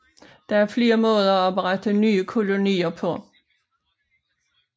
Der var flere måder at oprette nye kolonier på